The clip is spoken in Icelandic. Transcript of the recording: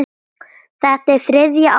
Þetta er þriðja árið mitt.